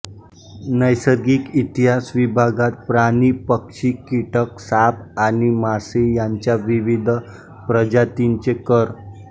नैसर्गिक इतिहास विभागात प्राणी पक्षी कीटक साप आणि मासे यांच्या विविध प्रजातींचे कर